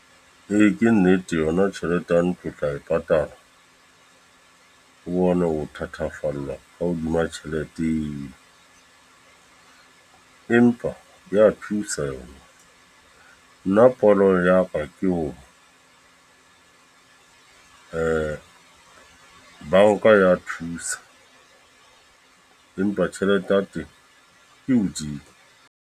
Ee, ke nnete yona tjhelete ya ntlo o tla e patala. O bone ho thathafallwa ka hodima tjhelete eo. Empa ya thusa yo na. Nna pono ya ka ke hore banka ya thusa. Empa tjhelete ya teng e hodimo.